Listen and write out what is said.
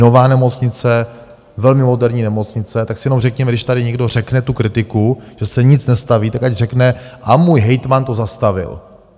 Nová nemocnice, velmi moderní nemocnice, tak si jenom řekněme, když tady někdo řekne tu kritiku, že se nic nestaví, tak ať řekne - a můj hejtman to zastavil.